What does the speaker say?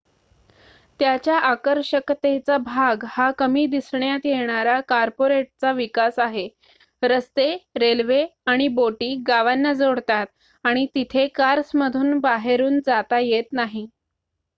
त्याच्या आकर्षकतेचा भाग हा कमी दिसण्यात येणारा कॉर्पोरेटचा विकास आहे रस्ते रेल्वे आणि बोटी गावांना जोडतात आणि तिथे कार्समधून बाहेरुन जाता येत नाही